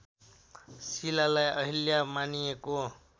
शिलालाई अहिल्या मानिएको